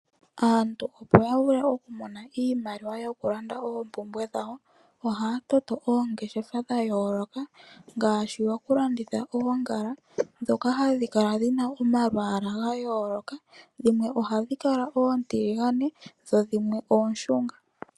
Aantu opo ya vule kumona iimaliwa yokulanda oompumbwe dhawo, ohaya toto oongeshefa dha yooloka ngaashi dhokulanditha oongala ndhoka hadhi kala dhi na omalwaala ga yooloka. Dhimwe ohadhi kala oontiligane dho dhimwe ooshunga.